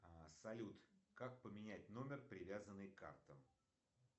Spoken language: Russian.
салют как поменять номер привязанный к картам